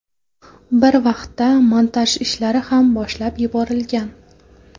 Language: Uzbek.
Bir vaqtda montaj ishlari ham boshlab yuborilgan.